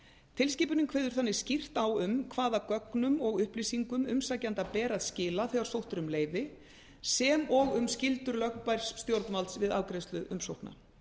tilskipunin kveður þannig skýrt á um hvaða gögnum og upplýsingum umsækjanda ber að skila þegar sótt er um leyfi sem og um skyldur lögbærs stjórnvalds við afgreiðslu umsókna